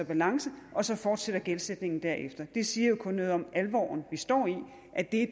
balance og så fortsætter gældsætningen derefter det siger jo kun noget om alvoren vi står i at det